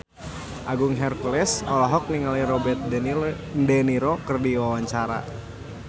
Agung Hercules olohok ningali Robert de Niro keur diwawancara